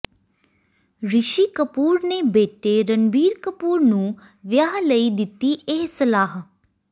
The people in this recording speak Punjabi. ਰਿਸ਼ੀ ਕਪੂਰ ਨੇ ਬੇਟੇ ਰਣਬੀਰ ਕਪੂਰ ਨੂੰ ਵਿਆਹ ਲਈ ਦਿੱਤੀ ਇਹ ਸਲਾਹ